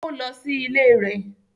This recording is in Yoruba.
Ó lọ sí ilé rẹ̀